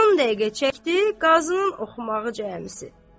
10 dəqiqə çəkdi qazının oxumağı cəmi.